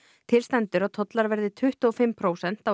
til stendur að tollar verði tuttugu og fimm prósent á